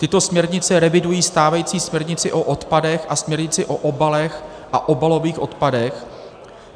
Tyto směrnice revidují stávající směrnici o odpadech a směrnici o obalech a obalových odpadech.